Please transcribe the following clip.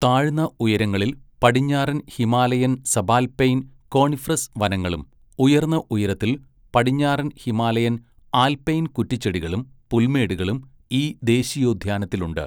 താഴ്ന്ന ഉയരങ്ങളിൽ പടിഞ്ഞാറൻ ഹിമാലയൻ സബാൽപൈൻ കോണിഫറസ് വനങ്ങളും, ഉയർന്ന ഉയരത്തിൽ പടിഞ്ഞാറൻ ഹിമാലയൻ ആൽപൈൻ കുറ്റിച്ചെടികളും പുൽമേടുകളും ഈ ദേശീയോദ്യാനത്തിലുണ്ട്.